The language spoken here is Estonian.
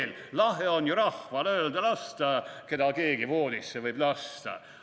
/ Lahe on ju rahval öelda lasta, / keda keegi voodisse võib lasta.